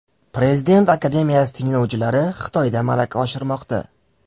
Prezident akademiyasi tinglovchilari Xitoyda malaka oshirmoqda.